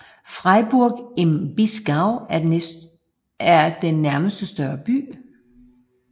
Freiburg im Breisgau er den nærmeste større by